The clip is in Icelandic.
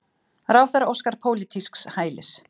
Ráðherra óskar pólitísks hælis